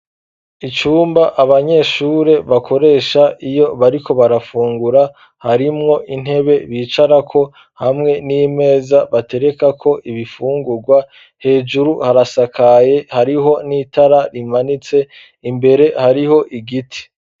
Icumba abanyeshure bakoresha iyo bariko barafungura harimwo intebe bicarako hamwe n'imeza batereka ko ibifungurwa hejuru harasakaye hariho n'itara rimanitse imbere hariho igiti.